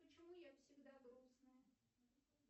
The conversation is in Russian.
почему я всегда грустная